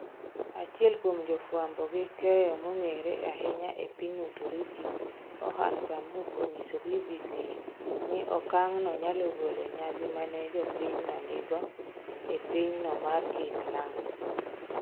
Achiel kuom go fwambo gi keyo mong'ere ahinya e piny Uturuki, Orhan Pamuk onyiso BBc ni okang no nyalo golo nyadhi mane jo piny no nigo e piny no mar Kiislam.